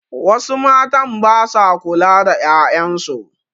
Wasu matn ba sa kula da 'ya'yan su.